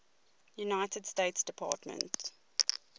united states department